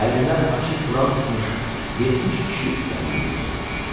Əlində açıq Quran tutmuş 70 kişi irəliləyirdi.